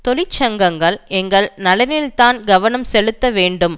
தொழிற்சங்கங்கள் எங்கள் நலனில்தான் கவனம் செலுத்த வேண்டும்